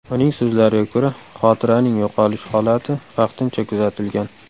Uning so‘zlariga ko‘ra, xotiraning yo‘qolish holati vaqtincha kuzatilgan.